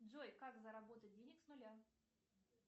джой как заработать денег с нуля